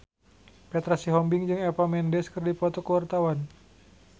Petra Sihombing jeung Eva Mendes keur dipoto ku wartawan